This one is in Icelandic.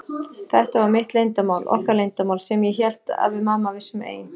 Þetta var mitt leyndarmál, okkar leyndarmál, sem ég hélt að við mamma vissum ein.